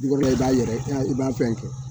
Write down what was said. b'a yɛrɛ i b'a fɛn kɛ.